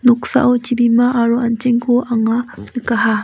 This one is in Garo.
noksao chibima aro an·chengko anga nikaha.